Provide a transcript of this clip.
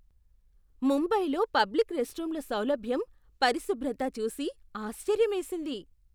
ముంబైలో పబ్లిక్ రెస్ట్రూమ్ల సౌలభ్యం, పరిశుభ్రత చూసి ఆశ్చర్యమేసింది.